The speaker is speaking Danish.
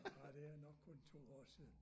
Ah det er nok kun 2 år siden